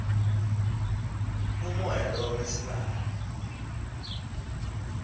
umoya lo wesibaya